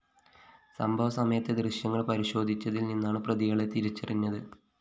സംഭവ സമയത്തെ ദൃശ്യങ്ങള്‍ പരിശോധിച്ചതില്‍ നിന്നാണ് പ്രതികളെ തിരിച്ചറിഞ്ഞത്